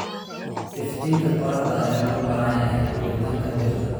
Iftiinka qorraxda ayaa loo baahan yahay koritaanka dhirta.